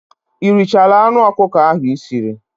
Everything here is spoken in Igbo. Ị richaala anụ ọkụkọ ahụ Ị siri?